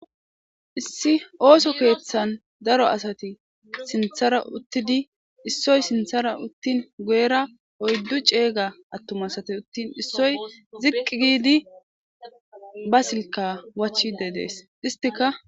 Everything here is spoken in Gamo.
issi ooso keeththan daro asati sinthara uttidi issoy sinthara uttin goyera oyddu ceega attum asate uttin issoy ziqqi giidi ba silka wachide dees istika